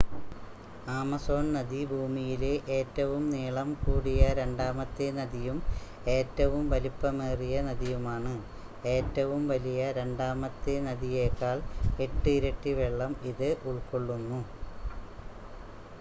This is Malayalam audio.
ആമസോൺ നദി ഭൂമിയിലെ ഏറ്റവും നീളംകൂടിയ രണ്ടാമത്തെ നദിയും ഏറ്റവും വലിപ്പമേറിയ നദിയുമാണ് ഏറ്റവും വലിയ രണ്ടാമത്തെ നദിയേക്കാൾ 8 ഇരട്ടി വെള്ളം ഇത് ഉൾക്കൊള്ളുന്നു